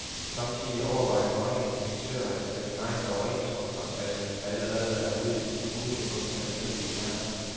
Samtidig overvejer mange inspektører at stemme nej til overenskomstaftalen, der allerede er ude i stiv kuling hos den almindelige lærer.